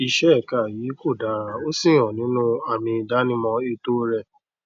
iṣẹ ẹka yìí kò dára ó sì hàn nínú àmì ìdánimọ ètò rẹ